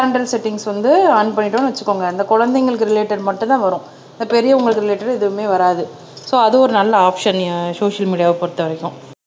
parental settings வந்து on பண்ணிட்டோம்ன்னு வச்சுக்கோங்க அந்த குழந்தைங்களுக்கு ரிலேடேட் மட்டும்தான் வரும் பெரியவங்களுக்கு ரிலேடேட் எதுவுமே வராது சோ அது ஒரு நல்ல ஆப்சன் சோசியல் மீடியாவை பொறுத்தவரைக்கும்